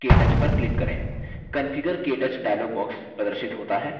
configure – ktouch dialog box प्रदर्शित होता है